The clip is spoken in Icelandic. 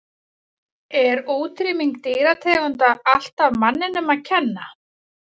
Er útrýming dýrategunda alltaf manninum að kenna?